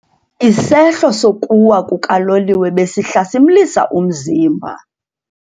Isehlo sokuwa kukaloliwe besihlasimlisa umzimba.